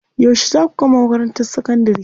Yauce zaa ku gama makarantar sakandari?